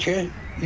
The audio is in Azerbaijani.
12.